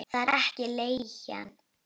Það er ekki leigan.